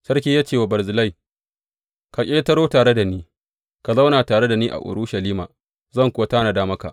Sarki ya ce wa Barzillai, Ka ƙetaro tare da ni ka zauna tare da ni a Urushalima, zan kuwa tanada maka.